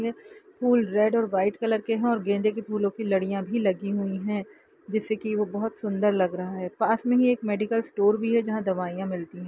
वे फूल रेड और white colour के है और गेंदे के फूलों की लड़ियाँ भी लगी हुई है जिससे की वो बहुत सुन्दर लग रहा है पास में ही एक मेडिकल स्टोर भी है जहां दवाइया मिलती है।